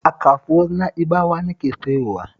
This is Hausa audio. A kasuwar Na'ibawa nake sayowa